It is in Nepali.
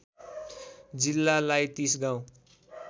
जिल्लालाई ३० गाउँ